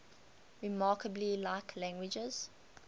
remarkably like language